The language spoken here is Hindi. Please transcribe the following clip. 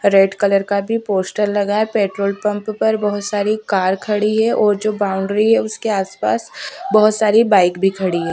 रेड कलर का भी पोस्टर लगा है पेट्रोल पंप पर बहुत सारी कार खड़ी है और जो बाउड्री है उसके आसपास बहुत सारी बाइक भी खड़ी है--